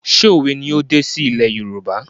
ṣé òwe ni ó dé sí ilé Yorùbá?